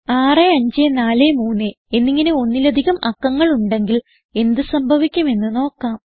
6543 എന്നിങ്ങനെ ഒന്നിലധികം അക്കങ്ങൾ ഉണ്ടെങ്കിൽ എന്ത് സംഭവിക്കും എന്ന് നോക്കാം